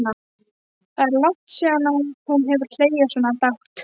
Það er langt síðan hún hefur hlegið svona dátt.